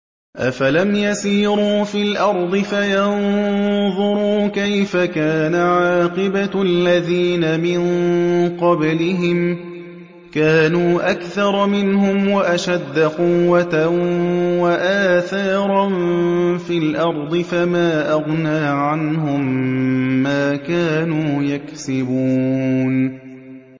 أَفَلَمْ يَسِيرُوا فِي الْأَرْضِ فَيَنظُرُوا كَيْفَ كَانَ عَاقِبَةُ الَّذِينَ مِن قَبْلِهِمْ ۚ كَانُوا أَكْثَرَ مِنْهُمْ وَأَشَدَّ قُوَّةً وَآثَارًا فِي الْأَرْضِ فَمَا أَغْنَىٰ عَنْهُم مَّا كَانُوا يَكْسِبُونَ